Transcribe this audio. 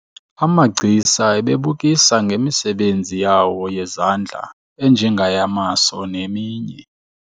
Amagcisa ebebukisa ngemisebenzi yawo yezandla enjengeyamaso neminye.